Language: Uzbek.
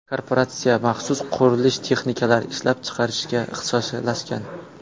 Korporatsiya maxsus qurilish texnikalari ishlab chiqarishga ixtisoslashgan.